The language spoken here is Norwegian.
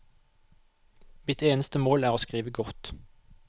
Mitt eneste mål er å skrive godt.